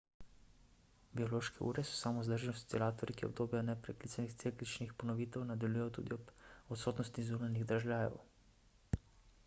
biološke ure so samovzdržni oscilatorji ki obdobja neprekinjenih cikličnih ponovitev nadaljujejo tudi ob odsotnosti zunanjih dražljajev